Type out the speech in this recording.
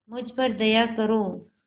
मुझ पर दया करो